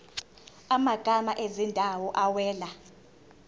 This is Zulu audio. amagama ezindawo awela